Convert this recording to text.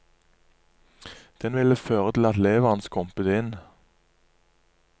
Den ville føre til at leveren skrumpet inn.